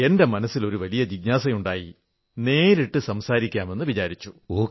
എന്റെ മനസ്സിൽ ജിജ്ഞാസയുണ്ടായി നേരിട്ടു സംസാരിക്കാമെന്നു വിചാരിച്ചു